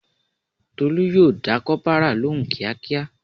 Tolu yo da kopara lóhùn kíákíá